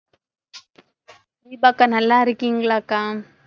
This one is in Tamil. தீபா அக்கா, நல்லா இருக்கீங்களாக்கா?